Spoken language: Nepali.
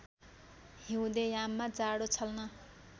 हिउँदे याममा जाडो छल्न